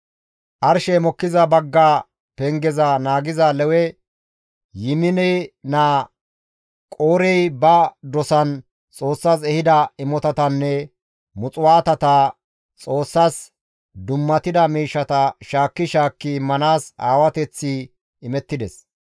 Arshey mokkiza bagga pengeza naagiza Lewe Yimine naa Qoorey ba dosan Xoossas ehida imotatanne muxuwaatata Xoossas dummatida miishshata shaakki shaakki immanaas aawateththi imettides.